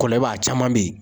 Kɔlɛlba , a caman bɛ yen.